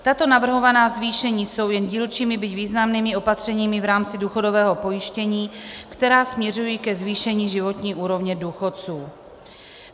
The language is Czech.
Tato navrhovaná zvýšení jsou jen dílčími, byť významnými opatřeními v rámci důchodového pojištění, která směřují ke zvýšení životní úrovně důchodců.